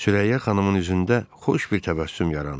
Sürəyyə xanımın üzündə xoş bir təbəssüm yarandı.